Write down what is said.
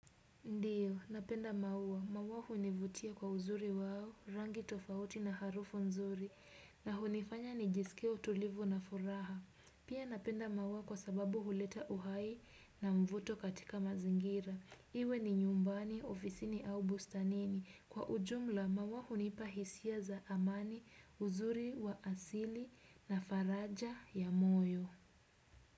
Ndio, napenda maua, maua hunivutia kwa uzuri wao, rangi tofauti na harufu nzuri, na hunifanya nijisikie utulivu na furaha. Pia napenda maua kwa sababu huleta uhai na mvuto katika mazingira. Iwe ni nyumbani, ofisini au bustanini. Kwa ujumla, maua hunipa hisia za amani, uzuri wa asili na faraja ya moyo.